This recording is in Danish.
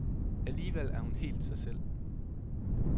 Alligevel er hun helt sig selv.